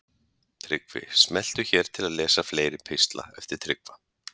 Tryggvi Smelltu hér til að lesa fleiri pistla eftir Tryggva